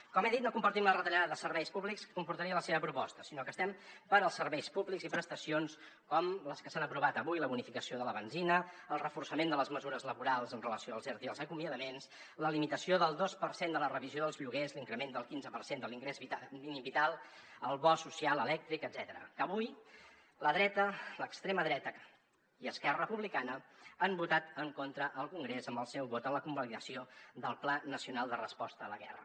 com he dit no compartim la retallada de serveis públics que comportaria la seva proposta sinó que estem pels serveis públics i prestacions com les que s’han aprovat avui la bonificació de la benzina el reforçament de les mesures laborals en relació amb els erte i els acomiadaments la limitació del dos per cent de la revisió dels lloguers l’increment del quinze per cent de l’ingrés mínim vital el bo social elèctric etcètera que avui la dreta l’extrema dreta i esquerra republicana han votat en contra al congrés amb el seu vot en la convalidació del pla nacional de resposta a la guerra